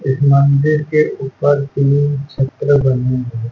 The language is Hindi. इस मंदिर के ऊपर तीन चित्र बने हैं।